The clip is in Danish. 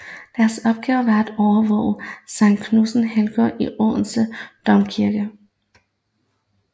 Deres opgave var at overvåge Sankt Knuds helgengrav i Odense Domkirke